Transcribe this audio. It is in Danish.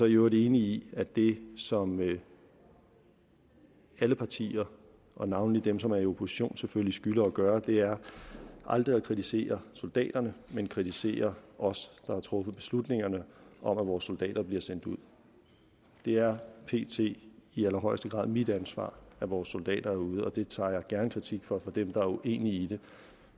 i øvrigt enig i at det som alle partier og navnlig dem som er i opposition selvfølgelig skylder at gøre er aldrig at kritisere soldaterne men kritisere os der har truffet beslutningerne om at vores soldater bliver sendt ud det er pt i allerhøjeste grad mit ansvar at vores soldater er ude og det tager jeg gerne imod kritik for fra dem der er uenige i det